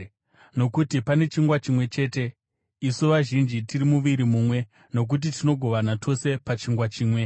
Nokuti pane chingwa chimwe chete, isu vazhinji tiri muviri mumwe, nokuti tinogovana tose pachingwa chimwe.